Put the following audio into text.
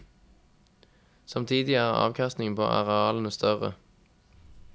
Samtidig er avkastningen på arealene større.